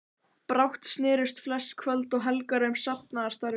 Brátt snerust flest kvöld og helgar um safnaðarstarfið.